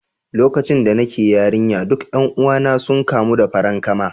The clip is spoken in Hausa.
Lokacin da nake yarinya, duk 'yan uwana sun kamu da farankama